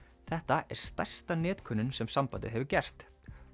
þetta er stærsta netkönnun sem sambandið hefur gert